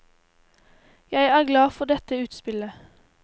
Jeg er glad for dette utspillet.